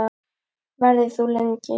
Verður þú lengi?